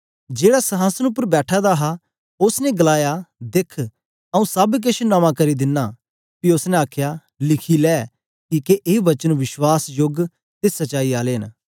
जेहड़ा संहासन उपर बैठा दा हा उस्स ने गलाया दिख आऊँ सब किश नमां करी देना पी उस्स ने आखया लिखी ले किके ए वचन वश्वासयोग ते सच्चाई आले न